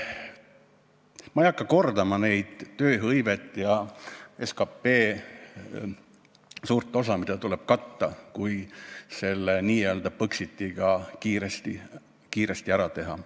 Ma ei hakka kordama neid tööhõiveprobleeme ja seda, et suur osa SKP-st tuleks millegagi katta, kui n-ö Põxit kiiresti ära teha.